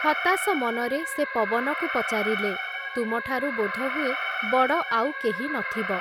ହତାଶ ମନରେ ସେ ପବନକୁ ପଚାରିଲେ, ତୁମଠାରୁ ବୋଧହୁଏ ବଡ଼ ଆଉ କେହି ନ ଥିବ ।